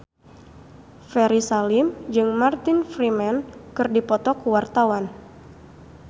Ferry Salim jeung Martin Freeman keur dipoto ku wartawan